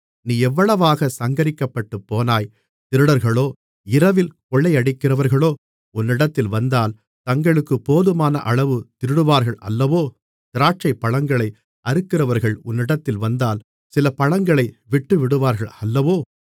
நீ எவ்வளவாகச் சங்கரிக்கப்பட்டுப்போனாய் திருடர்களோ இரவில் கொள்ளையடிக்கிறவர்களோ உன்னிடத்தில் வந்தால் தங்களுக்குப் போதுமானஅளவு திருடுவார்கள் அல்லவோ திராட்சைப்பழங்களை அறுக்கிறவர்கள் உன்னிடத்தில் வந்தால் சில பழங்களை விட்டுவிடுவார்கள் அல்லவோ